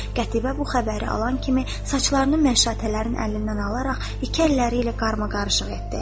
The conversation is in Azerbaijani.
Qətibə bu xəbəri alan kimi saçlarını məşşatələrin əlindən alaraq iki əlləri ilə qarmaqarışıq etdi.